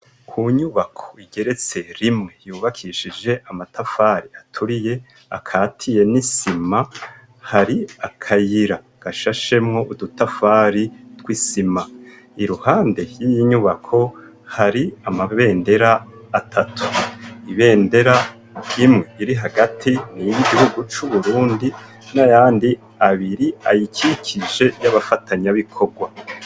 Ku nyubako igeretse rimwe ,yubakishije amatafari aturiye akatiye n'isima, hari akayira gashashemwo udutafari tw'isima, iruhande y'inyubako hari amabendera atatu ,ibendera imwe iri hagati ni iri gihugu c'Uburundi n'ayandi abiri ayikikije y'abafatanya bikorwa.